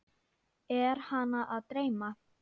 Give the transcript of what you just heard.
Er hana að dreyma?